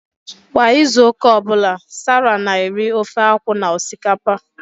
Kwa izu ụka ọ bụla, Sarah na-eri ofe akwu na osikapa